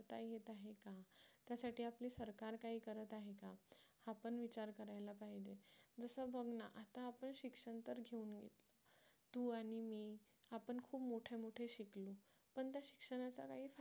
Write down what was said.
त्यासाठी आपली सरकार काही करत आहे का आपण विचार करायला पाहिजे जसं बघ ना आता आपण शिक्षण तर घेतलं तू आणि मी आपण खूप मोठे मोठे शिकलो पण त्या शिक्षणाचा काही फायदा